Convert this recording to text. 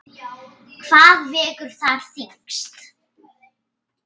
Hvað vegur þar þyngst?